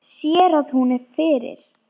Sér að hún er fyrir.